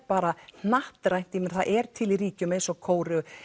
bara hnattrænt ég meina það er til í ríkjum eins og Kóreu